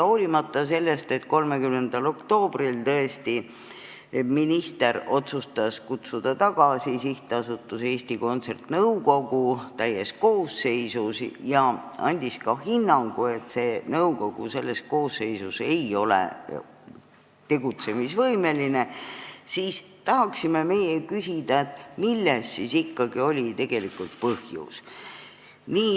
Hoolimata sellest, et 30. oktoobril otsustas minister kutsuda tagasi SA Eesti Kontsert nõukogu täies koosseisus ja andis ka hinnangu, et nõukogu selles koosseisus ei ole tegutsemisvõimeline, tahame meie küsida, milles siis ikkagi oli tegelikult põhjus.